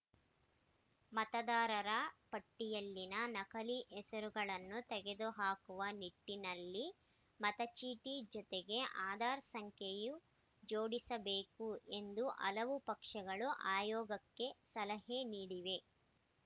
ಮತದಾರರ ಪಟ್ಟಿಯಲ್ಲಿನ ನಕಲಿ ಹೆಸರುಗಳನ್ನು ತೆಗೆದುಹಾಕುವ ನಿಟ್ಟಿನಲ್ಲಿ ಮತಚೀಟಿ ಜೊತೆಗೆ ಆಧಾರ್‌ ಸಂಖ್ಯೆ ಜೋಡಿಸಬೇಕು ಎಂದು ಹಲವು ಪಕ್ಷಗಳು ಆಯೋಗಕ್ಕೆ ಸಲಹೆ ನೀಡಿವೆ